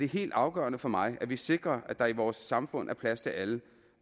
helt afgørende for mig at vi sikrer at der i vores samfund er plads til alle